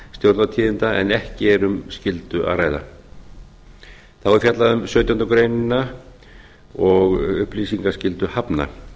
stjórnartíðinda en ekki erum skyldu að ræða þá er fjallað um sautjándu grein og upplýsingaskyldu hafna